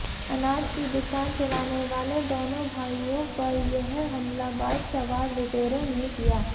अनाज की दुकान चलानेवाले दोनों भाइयों पर यह हमला बाइक सवार लुटेरों ने किया